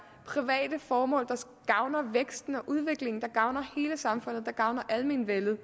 private formål der gavner væksten og udviklingen der gavner hele samfundet der gavner almenvellet